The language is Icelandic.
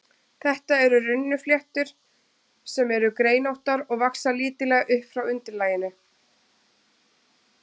Þetta eru runnfléttur, sem eru greinóttar og vaxa lítillega upp frá undirlaginu.